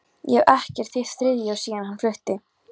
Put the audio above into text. Ég hef ekkert hitt Friðþjóf síðan hann flutti.